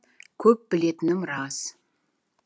көп білетінім рас